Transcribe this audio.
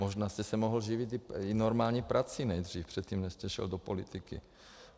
Možná jste se mohl živit i normální prací nejdřív, předtím, než jste šel do politiky.